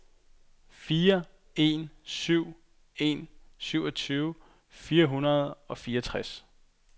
fire en syv en syvogtyve fire hundrede og fireogtres